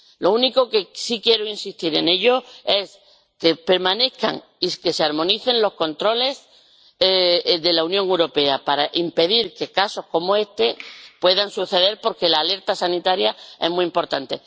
Lo único en lo que sí quiero insistir es en que permanezcan y se armonicen los controles de la Unión Europea para impedir que casos como este puedan suceder, porque la alerta sanitaria es muy importante.